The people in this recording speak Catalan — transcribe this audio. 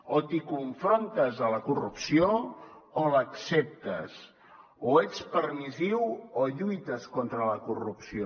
o t’hi confrontes a la corrupció o l’acceptes o ets permissiu o lluites contra la corrupció